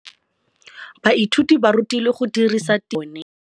Baithuti ba rutilwe go dirisa tirwa mo puong ya bone.